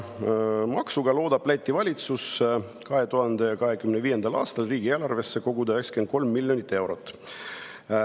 Maksuga loodab Läti valitsus 2025. aastal riigieelarvesse koguda 93 miljonit eurot.